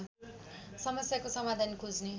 समस्याको समाधान खोज्ने